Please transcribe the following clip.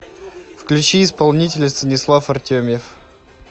включи исполнителя станислав артемьев